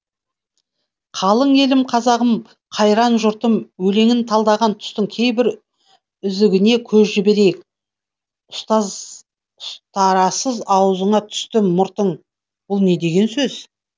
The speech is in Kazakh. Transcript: қалың елім қазағым қайран жұртым өлеңін талдаған тұстың кейбір үзігіне көз жіберейік ұстарасыз аузыңа түсті мұртың бұл не деген сөз